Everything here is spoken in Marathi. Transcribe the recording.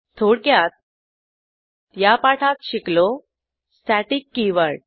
थोडक्यात या पाठात शिकलो स्टॅटिक कीवर्ड